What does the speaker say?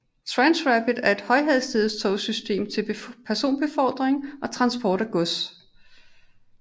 Transrapid er et højhastighedstogsystem til personbefordring og transport af gods